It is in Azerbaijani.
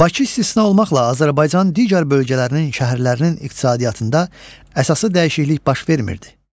Bakı istisna olmaqla, Azərbaycanın digər bölgələrinin şəhərlərinin iqtisadiyyatında əsaslı dəyişiklik baş vermirdi.